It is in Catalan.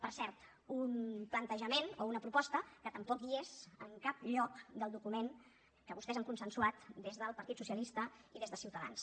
per cert un plantejament o una proposta que tampoc és en cap lloc del document que vostès han consensuat des del parit socialista i des de ciutadans